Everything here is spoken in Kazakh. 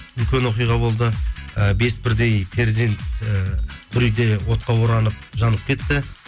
үлкен оқиға болды ы бес бірдей перзент ііі бір үйде отқа оранып жанып кетті